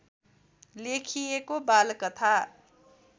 लेखिएको बालकथा